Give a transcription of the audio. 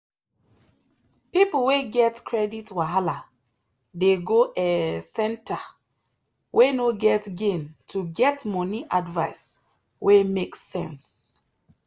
people wey get credit wahala dey go um centre way no get gain to get money advice wey make sense.